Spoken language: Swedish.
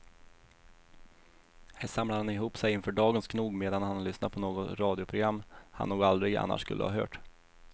Här samlar han ihop sig inför dagens knog medan han lyssnar på något radioprogram han nog aldrig annars skulle ha hört.